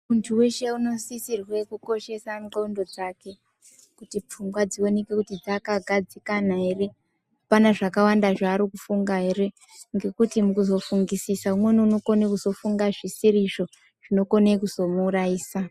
Muntu weshe unosisirwe kukoshese ndxondo dzake, kuti pfungwa dzioneke kuti dzakagadzikana ere, apana zvakawanda zvaari kufunga ere, ngekuti mukuzofungisisa umweni unokone kuzofunga zvisiri, izvo zvinokone kuzomuurayisa.